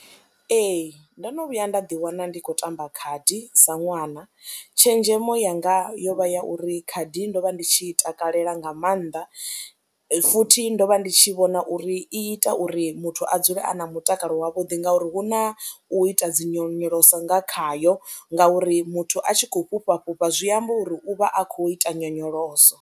Ee, ndo no vhuya nda ḓiwana ndi khou tamba khadi sa ṅwana, tshenzhemo yanga yo vha ya uri khadi ndo vha ndi tshi i takalela nga maanḓa futhi ndo vha ndi tshi vhona na uri i ita uri muthu a dzule a na mutakalo wavhuḓi ngauri hu na u ita dzi nyonyoloso nga khayo ngauri muthu a tshi khou fhufha fhufha zwi amba uri u vha a khou ita nyonyoloso.